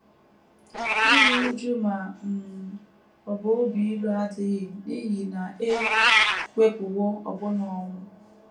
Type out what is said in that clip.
Iru újú ma um ọ bụ obi ilu adịghị n’ihi na e wepụwo ọbụna ọnwụ.